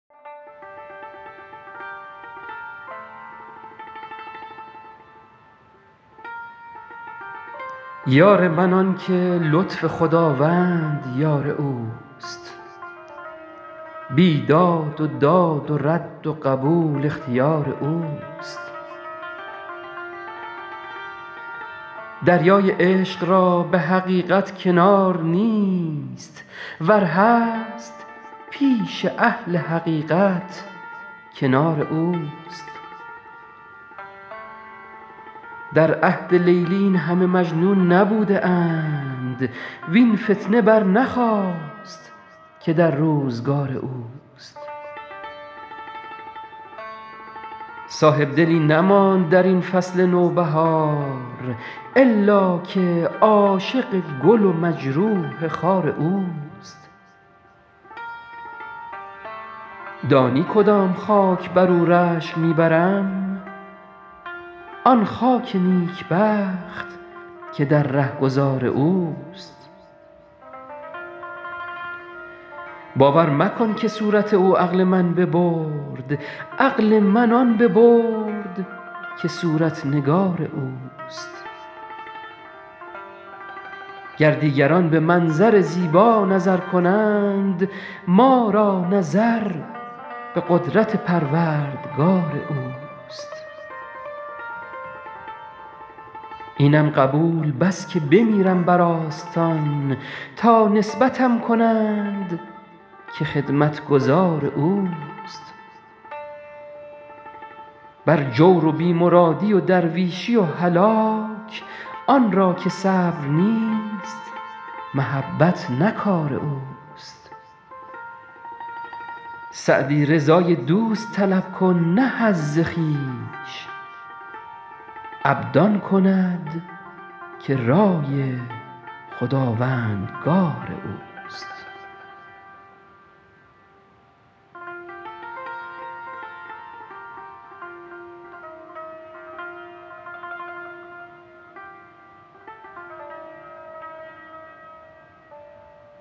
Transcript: یار من آن که لطف خداوند یار اوست بیداد و داد و رد و قبول اختیار اوست دریای عشق را به حقیقت کنار نیست ور هست پیش اهل حقیقت کنار اوست در عهد لیلی این همه مجنون نبوده اند وین فتنه برنخاست که در روزگار اوست صاحبدلی نماند در این فصل نوبهار الا که عاشق گل و مجروح خار اوست دانی کدام خاک بر او رشک می برم آن خاک نیکبخت که در رهگذار اوست باور مکن که صورت او عقل من ببرد عقل من آن ببرد که صورت نگار اوست گر دیگران به منظر زیبا نظر کنند ما را نظر به قدرت پروردگار اوست اینم قبول بس که بمیرم بر آستان تا نسبتم کنند که خدمتگزار اوست بر جور و بی مرادی و درویشی و هلاک آن را که صبر نیست محبت نه کار اوست سعدی رضای دوست طلب کن نه حظ خویش عبد آن کند که رای خداوندگار اوست